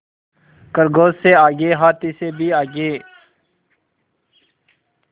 खरगोश से आगे हाथी से भी आगे